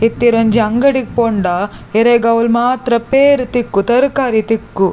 ಇತ್ತೆ ಈರೊಂಜಿ ಅಂಗಡಿ ಪೋಂಡ ಇರೆಗ್ ಅವ್ಲು ಮಾತ್ರ ಪೇರ್ ತಿಕ್ಕು ತರಕಾರಿ ತಿಕ್ಕು.